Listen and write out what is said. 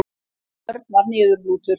Örn var niðurlútur.